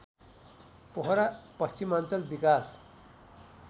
पोखरा पश्चिमाञ्चल विकास